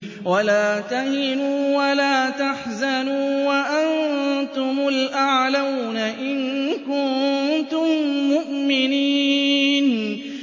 وَلَا تَهِنُوا وَلَا تَحْزَنُوا وَأَنتُمُ الْأَعْلَوْنَ إِن كُنتُم مُّؤْمِنِينَ